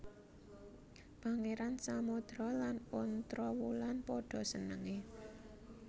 Pangeran Samodra lan Ontrowulan padha senenge